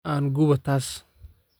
Aan gubo taas